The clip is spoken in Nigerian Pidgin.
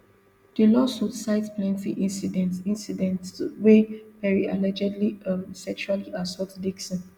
di lawsuit cite plenty incidents incidents wia perry allegedly um sexually assault dixon